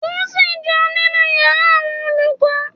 Dunsin ń jẹun nínú yàrá àwọn olùkọ́.